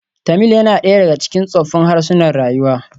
Tamil yana ɗaya daga cikin tsoffin harsunan rayuwa.